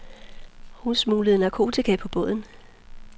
Hun smuglede narkotika på båden.